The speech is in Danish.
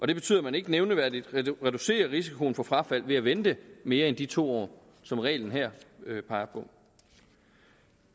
det betyder at man ikke nævneværdigt reducerer risikoen for frafald ved at vente mere end de to år som reglen her peger på